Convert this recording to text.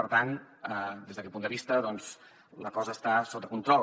per tant des d’aquest punt de vista doncs la cosa està sota control